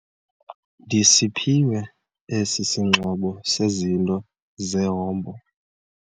Ndisiphiwe esi singxobo sezinto zehombo.